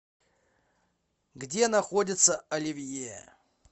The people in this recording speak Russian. где находится оливье